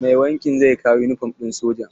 Mai wankin zai kawo yunifom ɗin sojan.